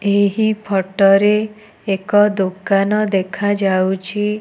ଏହି ଫଟୋ ରେ ଏକ ଦୋକାନ ଦେଖା ଯାଉଚି ।